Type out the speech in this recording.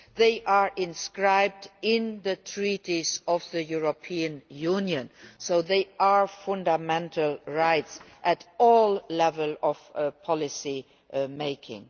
They are inscribed in the Treaties of the European Union, so they are fundamental rights at all levels of policymaking.